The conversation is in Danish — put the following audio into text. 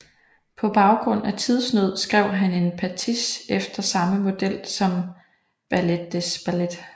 På grund af tidsnød skrev han en pastiche efter samme model som Ballet des Ballets